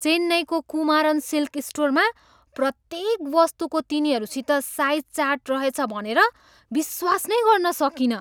चेन्नईको कुमारन सिल्क स्टोरमा प्रत्येक वस्तुको तिनीहरूसित साइज चार्ट रहेछ भनेर विश्वास नै गर्न सकिनँ।